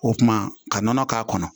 O kuma ka nɔnɔ k'a kɔnɔ